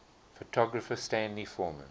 photographer stanley forman